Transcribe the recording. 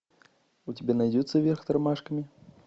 у тебя найдется вверх тормашками